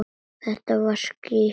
Það var skítt.